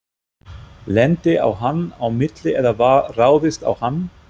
Lenti á hann á milli eða var ráðist á hann?